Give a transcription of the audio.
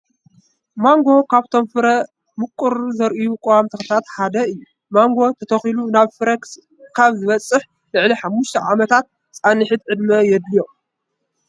ማንጎ ካብቶ ምቁር ፍረ ዘፍርዩ ቀዋሚ ተኽልታት ሓደ እዩ፡፡ ማንጎ ተተኺሉ ናብ ፍረ ንክበፅሕ ልዕሊ ሓሙሽተ ዓመታት ፃንሒት ዕድመ የድልዮ፡፡